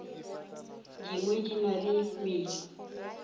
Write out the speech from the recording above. dingwe di na le medu